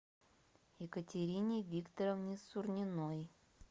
екатерине викторовне сурниной